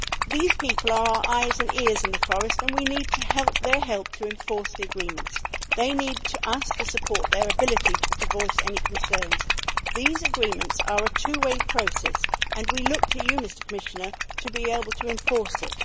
These people are our eyes and ears in the forest and we need their help to enforce the agreements. They need us to support their ability to voice any concerns. These agreements are a two way process and we look to you, Commissioner, to be able to enforce it.